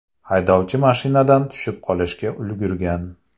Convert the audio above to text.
Haydovchi mashinadan tushib qolishga ulgurgan.